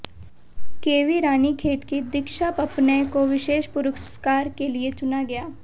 kV Ranikhet की दीक्षा पपनै को विशेष पुरस्कार के लिए चुना गया